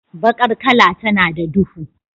Bakar kala tana da duhu.